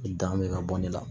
Dan bɛ ka bɔ ne la